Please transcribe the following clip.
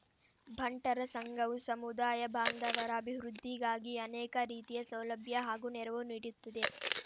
ಬಂಟರ ಸಂಘವು ಸಮುದಾಯ ಬಾಂಧವರ ಅಭಿವೃದ್ಧಿಗಾಗಿ ಅನೇಕ ರೀತಿಯ ಸೌಲಭ್ಯ ಹಾಗೂ ನೆರವು ನೀಡುತ್ತಿದೆ